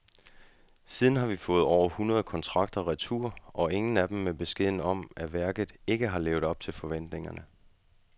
Siden har vi fået under et hundrede kontrakter retur, og ingen af dem er med beskeden om, at værket ikke har levet op til forventningerne.